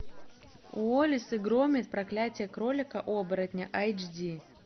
уоллес и громит проклятие кролика оборотня эйч ди